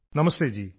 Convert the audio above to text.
നമസ്തേ ജീ